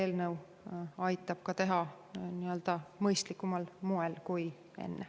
See eelnõu aitab seda teha mõistlikumal moel kui enne.